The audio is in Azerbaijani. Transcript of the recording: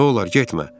Nə olar, getmə!